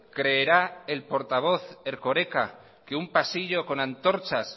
creerá el portavoz erkoreka que un pasillo con antorchas